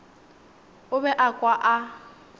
o be a kwa a